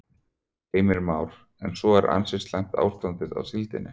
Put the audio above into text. Heimir Már: En svo er ansi slæmt ástandið á síldinni?